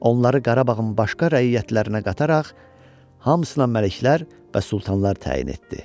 Onları Qarabağın başqa rəiyyətlərinə qataraq hamısına məliklər və sultanlar təyin etdi.